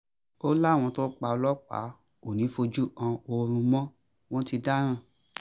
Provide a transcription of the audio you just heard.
ó láwọn tó pa ọlọ́pàá kò ní í fojú kan oòrùn mọ́ wọn ti dáràn